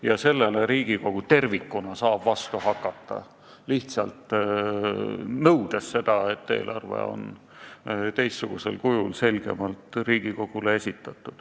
Ja sellele saab Riigikogu tervikuna vastu hakata, lihtsalt nõudes eelarve esitamist teistsugusel, selgemal kujul.